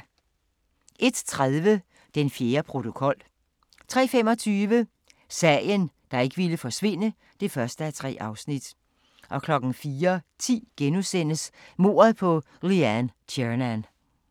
01:30: Den fjerde protokol 03:25: Sagen, der ikke ville forsvinde (1:3) 04:10: Mordet på Leanne Tiernan *